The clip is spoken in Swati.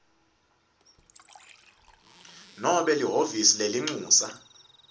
nobe lihhovisi lelincusa